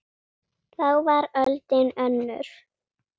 Þá var öldin önnur.